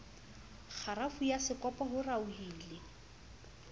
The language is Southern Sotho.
kgarafu ya sekopo ho raohile